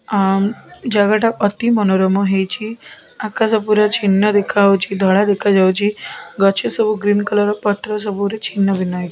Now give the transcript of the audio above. ଆମ୍ ଜାଗା ତି ଅତି ମନୋରମ ହେଇଛି ଆକାଶ ପୁରା ଛିନ୍ନ ଦେଖାଯାଉଛି ଧଳା ଦେଖାଯାଉଛି ଗଛ ସବୁ ଗ୍ରୀନ କଲର୍ ପତ୍ର ସବୁ ଛିନ୍ନ ଭିନ୍ନ ହେଇକି।